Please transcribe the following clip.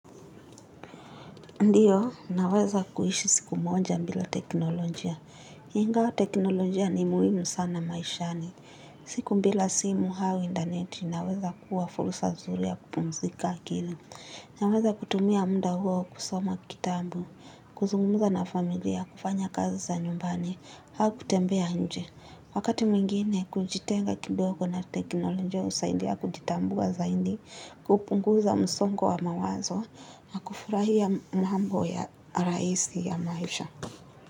Ndiyo, naweza kuishi siku moja bila teknolojia. Ingawa teknolojia ni muhimu sana maishani. Siku bila simu au interneti, inaweza kuwa fursa zuri ya kupumzika akili. Naweza kutumia muda huo kusoma kitabu, kuzungumuza na familia, kufanya kazi za nyumbani, au kutembea nje. Wakati mwingine, kujitenga kidogo na teknolojia husaidia kujitambua zaidi, kupunguza msongo wa mawazo, na kufurahia mambo ya rahisi ya maisha.